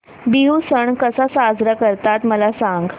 बिहू सण कसा साजरा करतात मला सांग